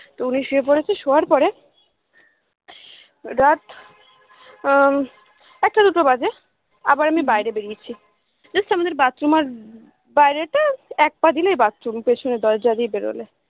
তো উনি শুয়ে পড়েছে শোয়ার পরে রাত আহ একটা দুটো বাজে আবার আমি বাইরে বেড়িয়েছি just আমাদের bathroom আর বাইরে টা এক পা দিলেই bathroom পেছনের দরজা দিয়ে বেরোলে